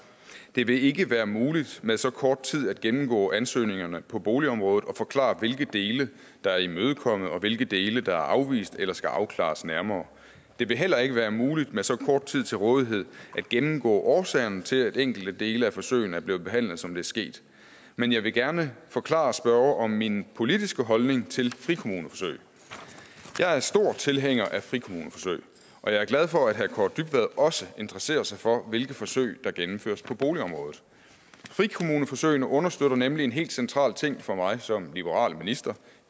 det vil ikke være muligt med så kort tid at gennemgå ansøgningerne på boligområdet og forklare hvilke dele der er imødekommet og hvilke dele der er afvist eller skal afklares nærmere det vil heller ikke være muligt med så kort tid til rådighed at gennemgå årsagerne til at enkelte dele af forsøgene er blevet behandlet som det er sket men jeg vil gerne forklare spørgeren om min politiske holdning til frikommuneforsøg jeg er stor tilhænger af frikommuneforsøg og jeg er glad for at herre kaare dybvad også interesserer sig for hvilke forsøg der gennemføres på boligområdet frikommuneforsøgene understøtter nemlig en helt central ting for mig som liberal minister